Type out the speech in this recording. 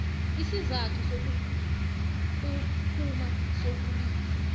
isizathu sokuphuma sokulisa